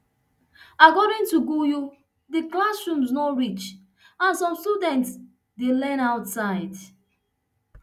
according to gayu di classrooms no reach and some students dey learn outside